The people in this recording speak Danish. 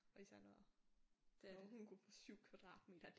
Og især når når hun kunne få 7 kvadratmeter